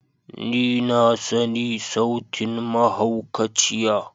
Ni na sani sautin mahaukaciya.